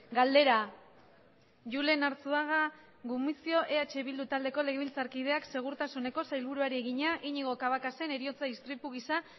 galdera julen arzuaga gumuzio eh bildu taldeko legebiltzarkideak segurtasuneko sailburuari egina iñigo cabacasen heriotza istripu gisa